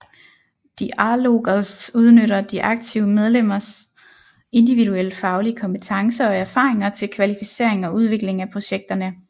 Diálogos udnytter de aktive medlemmers individuelle faglige kompetencer og erfaringer til kvalificering og udvikling af projekterne